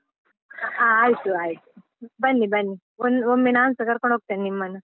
ಹಾ ಆಯ್ತು ಆಯ್ತು, ಬನ್ನಿ ಬನ್ನಿ, ಒಮ್ಮೆ ನಾನ್ಸ ಕರ್ಕೊಂಡ್ ಹೋಗ್ತೇನೆ ನಿಮ್ಮನ್ನು.